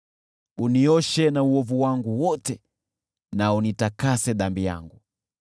Unioshe na uovu wangu wote na unitakase dhambi yangu.